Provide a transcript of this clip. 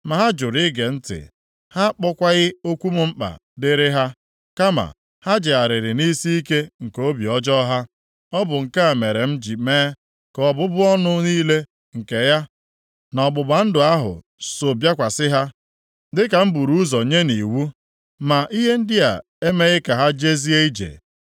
Ma ha jụrụ ige ntị. Ha akpọkwaghị okwu m mkpa dịrị ha. Kama ha jegharịrị nʼisiike nke obi ọjọọ ha. Ọ bụ nke a mere m ji mee ka ọbụbụ ọnụ niile nke ya na ọgbụgba ndụ ahụ so bịakwasị ha, dịka m buru ụzọ nye nʼiwu, ma ihe ndị a emeghị ka ha jezie ije.’ ”